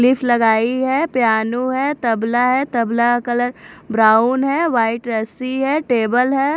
लगाई है पियानो है तबला है तबला का कलर ब्राउन है वाइट रस्सी है टेबल है।